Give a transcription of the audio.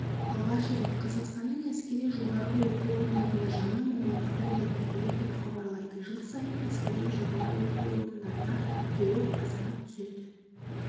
алғаш рет қазақстанның әскери жоғары оқу орындарында жаңа мамандықтар енгізілді деп хабарлайды жыл сайын әскери жоғары оқу орындарына жуық азамат түседі